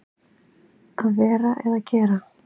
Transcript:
Að vera eða gera